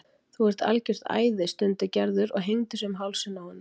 Þú ert algjört æði stundi Gerður og hengdi sig um hálsinn á honum.